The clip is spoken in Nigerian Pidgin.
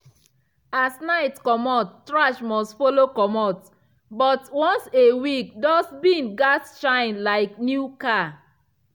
as night comot trash must follow comot. but once a week dust bin gats shine like new car.